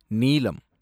நீலம்